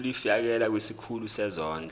ulifiakela kwisikulu sezondlo